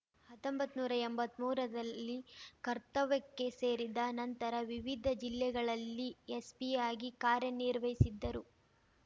ಹತ್ತೊಂಬತ್ ನೂರಾ ಎಂಬತ್ಮೂರರಲ್ಲಿ ಕರ್ತವ್ಯಕ್ಕೆ ಸೇರಿದ ನಂತರ ವಿವಿಧ ಜಿಲ್ಲೆಗಳಲ್ಲಿ ಎಸ್‌ಪಿಯಾಗಿ ಕಾರ್ಯನಿರ್ವಹಿಸಿದ್ದರು